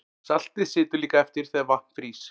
Saltið situr líka eftir þegar vatn frýs.